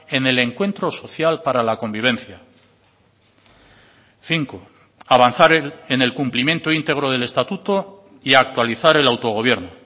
en el encuentro social para la convivencia cinco avanzar en el cumplimiento íntegro del estatuto y actualizar el autogobierno